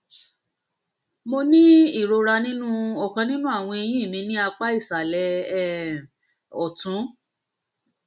mo ní ìrora nínú ọkàn nínú àwọn eyín mi ní apá ìsàlẹ um ọtún um